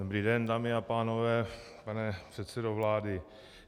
Dobrý den, dámy a pánové, pane předsedo vlády.